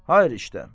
Hayır işdə.